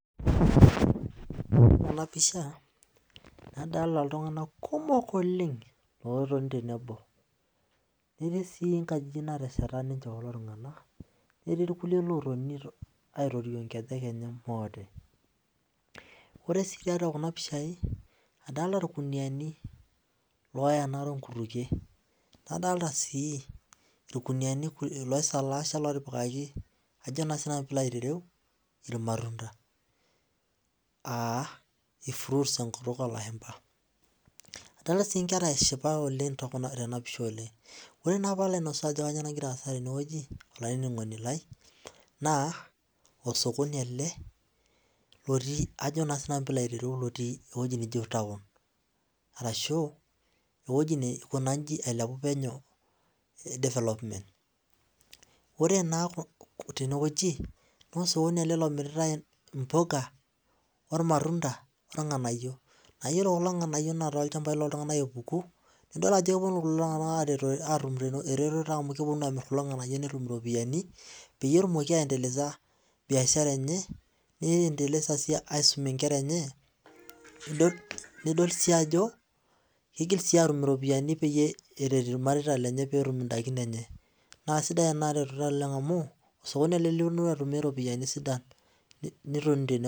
ore tenapisha nadolta ltunganak kumok otoni tenewueji etii nkjijik natesheta ninche kulom tunganak etii irkulie otoni aitorio nkejek enye ore si kuna pishai adolta irkuniani oenaa nkutukie adolta irkuniani otipikaki irmatunda adolta si nkera eshipa oleng tenapisha oleng ore palo alimu entoki nagira aasa olaininingoni lai osokoni ele otii ajo na sinnau pilo ayiolou ewoi naji taun arashu ewoi nailepuo npenyo ore na tenewueji na emiritae mpuka ore abayie na olchambai na keponu atum eretoto amu keponu atum kulo nganayio enikitum iropiyani petumoki aendeleza biashara enye nisum inkera enye irmareita lenye na sidai enaretoto amu itum iropiyani sidan oleng